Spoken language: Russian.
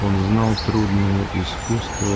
он знал трудное искусство